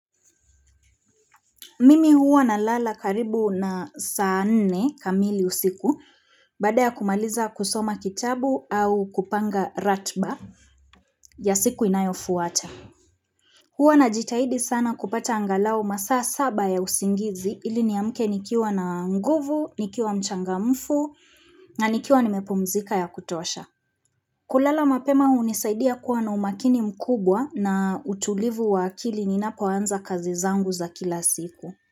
Mimi huwa na lala karibu na saa nne kamili usiku baada ya kumaliza kusoma kitabu au kupanga ratba ya siku inayofuata. Huwa na jitahidi sana kupata angalau masaa saba ya usingizi ili ni amke nikiwa na nguvu, nikiwa mchanga mfu na nikiwa nimepumzika ya kutosha. Kulala mapema hunisaidia kuwa na umakini mkubwa na utulivu wa akili ninapo anza kazi zangu za kila siku.